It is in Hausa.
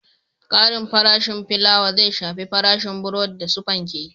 Ƙarin farashin filawa zai shafi farashin burodi da su fanke